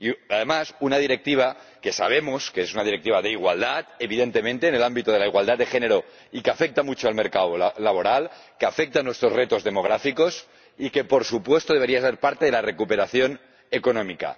Además, se trata de una directiva que sabemos que es una directiva sobe la igualdad, evidentemente en el ámbito de la igualdad de género, y que afecta mucho al mercado laboral, que afecta a nuestros retos demográficos y que, por supuesto, debería ser parte de la recuperación económica.